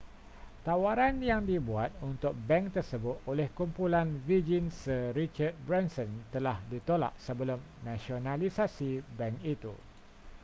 tawaran yang dibuat untuk bank tersebut oleh kumpulan virgin sir richard branson telah ditolak sebelum nasionalisasi bank itu